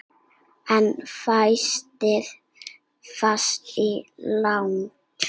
En fæstir feta svo langt.